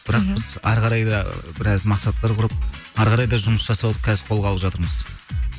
бірақ біз ары қарай да біраз мақсаттар құрып ары қарай да жұмыс жасауды қазір қолға алып жатырмыз